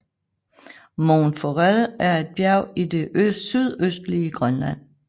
Mont Forel er et bjerg i det sydøstlige Grønland